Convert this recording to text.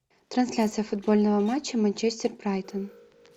трансляция футбольного матча манчестер брайтон